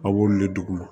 A b'olu le duguma